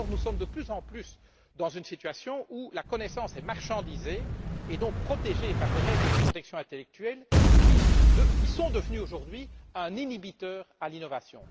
Or, nous sommes de plus en plus dans une situation où la connaissance est marchandisée et donc protégée par des règles de protection intellectuelle devenues, aujourd'hui, un inhibiteur à l'innovation.